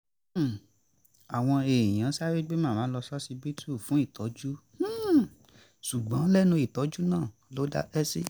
àwọn èèyàn sáré gbé màmá lọ ṣọsibítù fún ìtọ́jú ṣùgbọ́n lẹ́nu ìtọ́jú náà ló dákẹ́ sí